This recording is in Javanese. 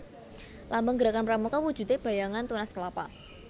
Lambang Gerakan Pramuka wujude bayangan tunas kelapa